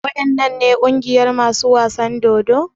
Waɗannan ne ƙungiyar masu wasan dodo?